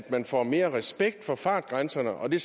man får mere respekt for fartgrænserne og det